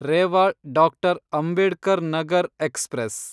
Rewa doctor. Ambedkar Nagar express